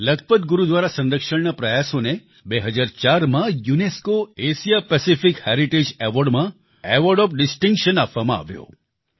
લખપત ગુરુદ્વારા સંરક્ષણના પ્રયાસોને 2004માં UNESCO Asia Pacific heritage award માં એવોર્ડ ઓએફ ડિસ્ટિંકશન આપવામાં આવ્યો